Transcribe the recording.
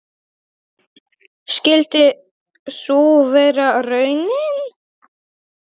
Skyldi sú vera raunin?